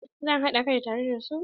Eh zan haɗa kai tare da su.